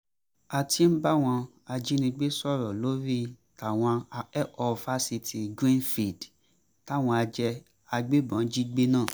a ti ń báwọn ajínigbé sọ̀rọ̀ lórí táwọn akẹ́kọ̀ọ́ fásitì greenfield táwọn agbébọ́n jí gbé náà